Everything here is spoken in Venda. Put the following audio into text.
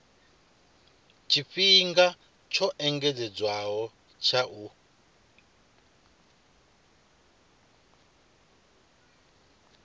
tshifhinga tsho engedzedzwaho tsha u